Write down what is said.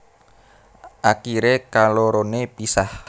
Akiré kaloroné pisah